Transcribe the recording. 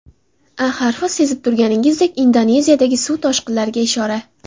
A harfi, sezib turganingizdek, Indoneziyadagi suv toshqinlariga ishora.